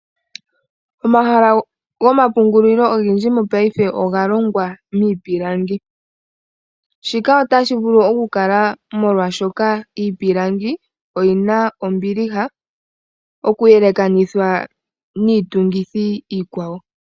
Omahala gomapungulilo ogendji mongashingeyi oga longwa miipilangi. Shika otashi vulu okukala molwashoka iipilangi oyina ombiliha okuyelekanithwa niitungithi iikwawo.